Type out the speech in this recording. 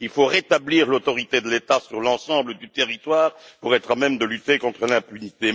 Il faut rétablir l'autorité de l'État sur l'ensemble du territoire pour être à même de lutter contre l'impunité.